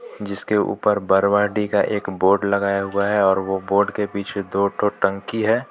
जिसके ऊपर बरवाडी का एक बोर्ड लगाया हुआ है और वो एक बोर्ड के पीछे दो ठो टंकी है.